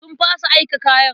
Sun fasa aika kayan.